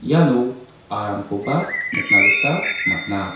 iano aramkoba nikna gita man·a.